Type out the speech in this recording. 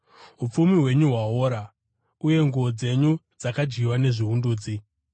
Upfumi hwenyu hwaora, uye nguo dzenyu dzakadyiwa nezviundudzi.